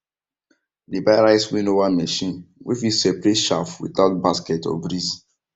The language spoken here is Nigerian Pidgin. dem buy rice winnower machine wey fit separate chaff without basket or breeze